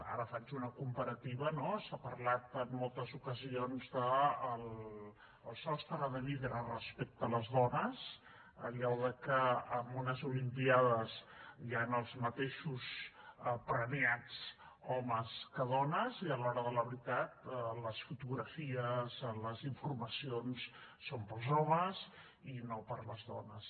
ara faig una comparativa s’ha parlat en moltes ocasions del sostre de vidre respecte a les dones allò de que en unes olimpíades hi han els mateixos premiats homes que dones i a l’hora de la veritat les fotografies les informacions són per als homes i no per a les dones